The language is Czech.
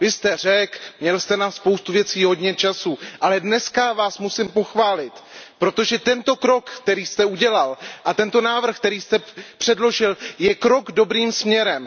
Vy jste Řek, měl jste na spoustu věcí hodně času, ale dneska vás musím pochválit, protože tento krok, který jste udělal, a tento návrh, který jste předložil, je krok dobrým směrem.